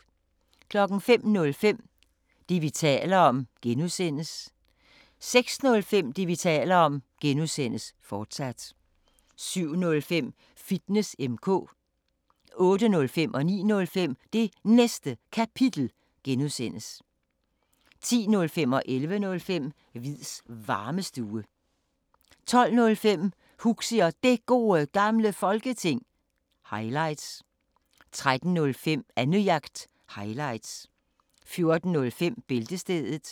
05:05: Det, vi taler om (G) 06:05: Det, vi taler om (G), fortsat 07:05: Fitness M/K 08:05: Det Næste Kapitel (G) 09:05: Det Næste Kapitel (G) 10:05: Hviids Varmestue 11:05: Hviids Varmestue 12:05: Huxi og Det Gode Gamle Folketing – highlights 13:05: Annejagt – highlights 14:05: Bæltestedet